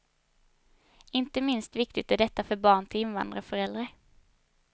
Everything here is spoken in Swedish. Inte minst viktigt är detta för barn till invandrarföräldrar.